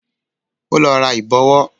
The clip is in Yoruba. Ó lọ ra Ìbọ̀wọ́